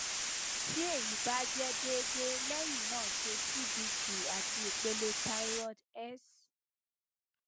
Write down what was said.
ti eyi ba jẹ deede lẹyin naa ṣe cbc ati ipele thyroid s